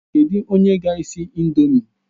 Kedụ onye ga-esi ị̀ndómị́?